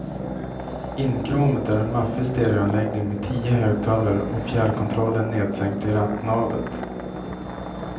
Inkråmet är en maffig stereoanläggning med tio högtalare och fjärrkontrollen nedsänkt i rattnavet.